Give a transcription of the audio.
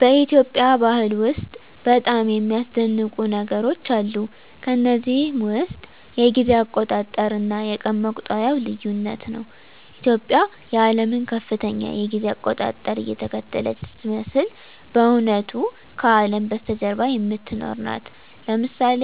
በኢትዮጵያ ባህል ውስጥ በጣም የሚያስደንቁ ነገሮች አሉ። ከነዚህም ውስጥ የጊዜ አቆጣጠር እና የቀን መቁጠሪያው ልዩነት ነው። ኢትዮጵያ የዓለምን ከፍተኛ የጊዜ አቆጣጠር እየተከተለች ስትመስል በእውነቱ ከአለም በስተጀርባ የምትኖር ናት። ለምሳሌ